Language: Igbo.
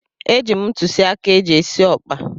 Eji m ntụzịaka eji esi ọkpa.